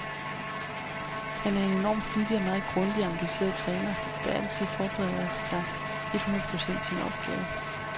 Han er en enorm flittig og meget grundig og engageret træner, der altid forbereder sig et hundrede procent til en opgave.